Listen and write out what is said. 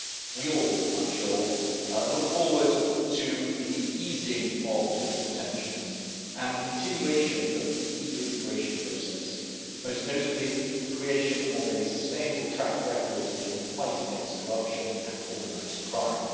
We all, I am sure, look forward to the easing of political tensions and the continuation of the EU integration process, most notably the creation of a sustainable track record in the fight against corruption and organised crime.